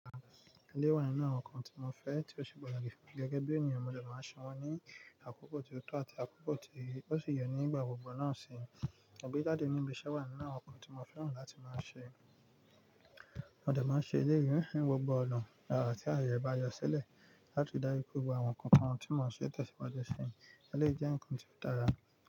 Eléyìí wà nínú àwọn nǹkan tí mo fẹ́ tí ó ṣe pàtàkì fún mi gẹ́gẹ́ bí ènìyàn mo dẹ máa ń ṣe wọ́n ní àkókọ̀ tó tọ́ àti àkókọ̀ tí ó ṣi yẹ ní ìgbà gbogbo náà sì agbẹ́ jáde níbi iṣẹ́ wà nínú àwọn nǹkan tí mo fẹ́ràn láti máa ń ṣe. Mo dẹ máa ń ṣe eleyii ní gbogbo ọ̀nà a tí ààyè bá yọ sílẹ̀ láti ri daju pe gbogbo àwọn nkan nkan tí mò ń ṣe tẹ́ṣìwájú ṣi. Eléwé jẹ́ nǹkan tí ó dára.